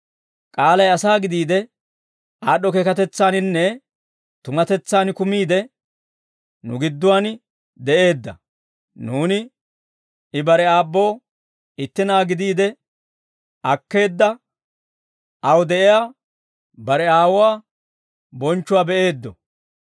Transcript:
K'aalay asaa gidiide, aad'd'o keekatetsaaninne tumatetsaan kumiide nu gidduwaan de'eedda. Nuuni, I bare aabboo itti Na'aa gidiide akkeedda aw de'iyaa bare Aawuwaa bonchchuwaa be'eeddo.